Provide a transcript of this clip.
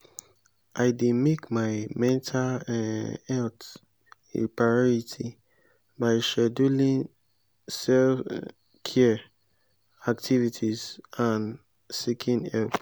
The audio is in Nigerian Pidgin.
i dey make my mental um health a priority by scheduling self-care activities and seeking help.